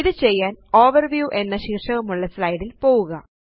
ഇത് ചെയ്യാന് Overviewഎന്ന ശീര്ഷകമുള്ള slideല് പോവുക